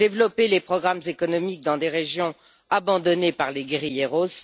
développer les programmes économiques dans des régions abandonnées par les guérilleros